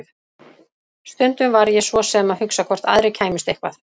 Stundum var ég svo sem að hugsa hvort aðrir kæmust eitthvað.